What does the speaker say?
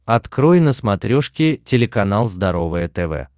открой на смотрешке телеканал здоровое тв